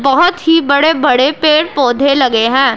बहोत ही बड़े बड़े पेड़ पौधे लगे हैं।